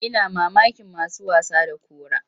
Ina mamakin masu wasa da kura.